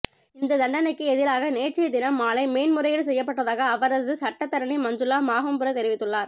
இந்த தண்டனைக்கு எதிராக நேற்றைய தினம் மாலை மேன்முறையீடு செய்யப்பட்டதாக அவரது சட்டத்தரணி மஞ்சுள மாகும்புர தெரிவித்துள்ளார்